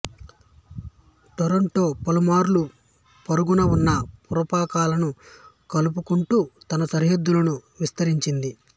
Toronto పలుమార్లు పొరుగున ఉన్న పురపాలకాలను కలుపుకుంటూ తన సరిహద్దులను విస్తరించింది